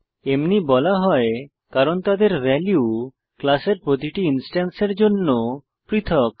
এমনি বলা হয় কারণ তাদের ভ্যালু ক্লাসের প্রতিটি ইনস্ট্যান্সের জন্য পৃথক